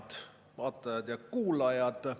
Head vaatajad ja kuulajad!